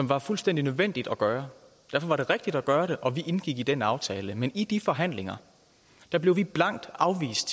var fuldstændig nødvendigt at gøre derfor var det rigtigt at gøre det og vi indgik i den aftale men i de forhandlinger blev vi blankt afvist